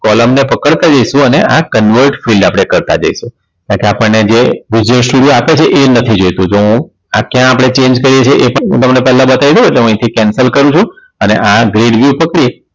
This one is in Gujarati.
column ને પકડતા જઈશું અને આ Kanwad Field આપણે કરતા જઈશું કારણ કે આપણે જે આપે છે એ નથી જોઈતું તો હું આજ થી આપણે Change કરીએ છે એ પણ હું તમને પેલા બતાય દવ એટલે હું અહીંથી Cancel કરું છું અને આ Crowd view પકડી